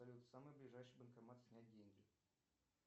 салют самый ближайший банкомат снять деньги